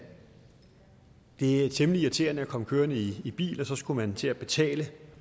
det er temmelig irriterende at komme kørende i i bil og så skal man til at betale